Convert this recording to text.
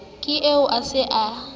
ke eo o se a